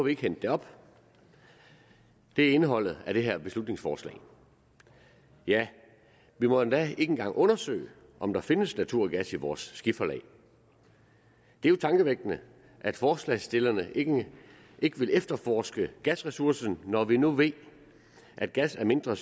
ikke hente det op det er indholdet af det her beslutningsforslag ja vi må endda ikke engang undersøge om der findes naturgas i vores skiferlag det er jo tankevækkende at forslagsstillerne ikke vil efterforske gasressourcen når vi nu ved at gas er mindre